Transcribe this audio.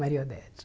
Maria Odete.